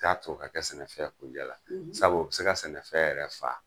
T'a to o ka kɛ sɛnɛfɛn kunjɛ la, sabu o be se ka sɛnɛfɛn yɛrɛ faa.